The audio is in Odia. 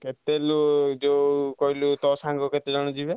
କେତେଲୋ ଯୋଉ ତୋ ସାଙ୍ଗ କହିଲୁ କେତେ ଜଣ ଯିବେ?